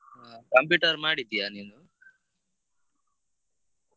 ಆ computer ಮಾಡಿದ್ದೀಯಾ ನೀನು?